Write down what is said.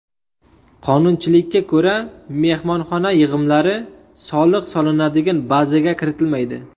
Qonunchilikka ko‘ra, mehmonxona yig‘imlari soliq solinadigan bazaga kiritilmaydi.